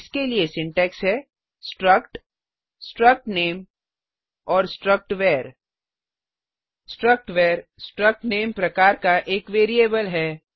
इसके लिए सिंटैक्स है struct struct name and struct var struct var struc name प्रकार का एक वेरिएबल है